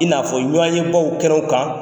I n'a fɔ ɲɔgɔye baw kɛnɛ kan.